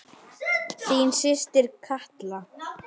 Örfáar velta.